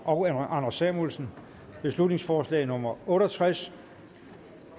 og anders samuelsen beslutningsforslag nummer otte og tres